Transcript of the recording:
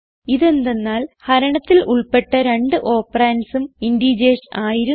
ഇതെന്തന്നാൽ ഹരണത്തിൽ ഉൾപ്പെട്ട രണ്ട് operandsഉം ഇന്റീജർസ് ആയിരുന്നു